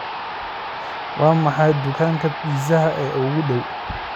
waa maxay dukaanka pizza ee kuugu dhow